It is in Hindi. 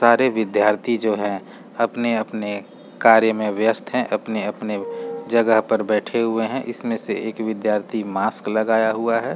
सारे विद्यार्थी जो है अपने आपने कार्य में व्यस्त अपने-अपने जगह पर बैठे हुए हैं इसमें से एक विद्यार्थी मास्क लगाया हुआ हैं।